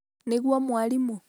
nĩguo mwarimũ